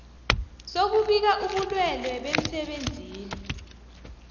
sokubika ubulwelwe bemsebenzini